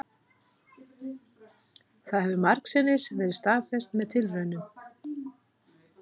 Það hefur margsinnis verið staðfest með tilraunum,